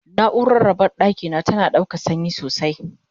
naurar raɓar ɗakina tana ɗaukan sanyi sosai